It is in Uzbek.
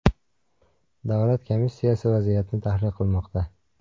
Davlat komissiyasi vaziyatni tahlil qilmoqda.